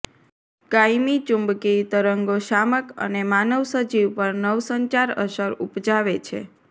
કાયમી ચુંબકીય તરંગો શામક અને માનવ સજીવ પર નવસંચાર અસર ઉપજાવે છે